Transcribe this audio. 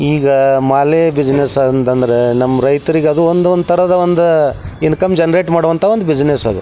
ಈಗ ಮಳೆ ಬಿಸಿನೆಸ್ ಅಂತ ಅಂದ್ರೆ ನಮ್ಮ ರೈತರಿಗೆ ಅದು ಒಂದೊಂದ್ ತರದ ಇನ್ಕಮ್ ಜನರೇಟ್ ಮಾಡೋವಂಥ ಒಂದು ಬಿಸಿನೆಸ್ .